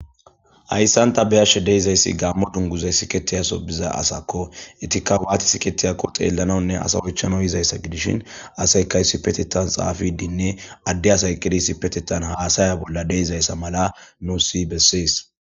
Hayssan ta be'ashshe deyizayssi gaammo dunguzay siikettiya son diiza asakko etikka watti sikettiyako xellanawunne ase oychchaw yiizayssa gidishin asaykay issipetettan xaafidinne adde asay eqqidi issipetettan hassaya bolla de'izayssa mala nusi bessees